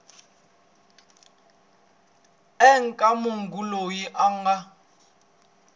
eka munhu loyi a nga